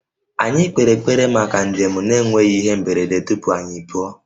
Anyị kpere ekpere maka njem na-enweghị ihe mberede tupu anyị apụọ